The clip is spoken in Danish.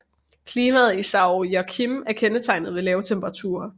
Klimaet i São Joaquim er kendetegnet ved lave temperaturer